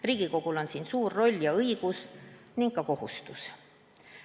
Riigikogul on siin suur roll ja õigus ning ka kohustus.